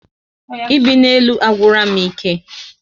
Ibi na élú agwura m ike